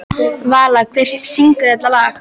Vala, hver syngur þetta lag?